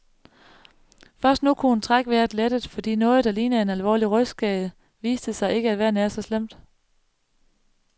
Først nu kunne hun trække vejret lettet, fordi noget, der lignede en alvorlig rygskade, viste sig ikke at være nær så slemt.